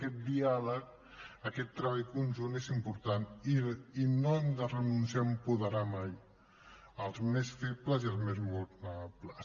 aquest diàleg aquest treball conjunt és important i no hem de renunciar a apoderar mai els més febles i els més vulnerables